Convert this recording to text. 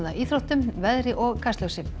íþróttum veðri og Kastljósi